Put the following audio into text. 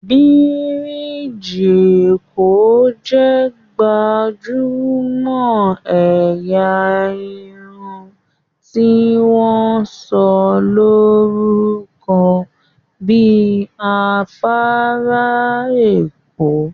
birigi Eko jé gbajúmò ẹ̀yà Irun tí wón sọ lórúko bí afárá Eko